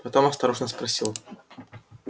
потом осторожно спросил